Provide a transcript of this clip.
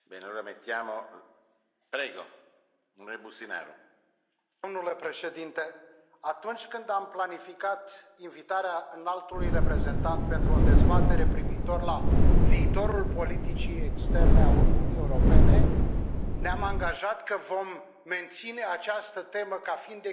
Domnule Președinte, atunci când am planificat invitarea Înaltului Reprezentant pentru o dezbatere privitoare la viitorul politicii externe a Uniunii Europene ne am angajat că vom menține această temă ca fiind exclusivă pentru a da posibilitatea acestui Parlament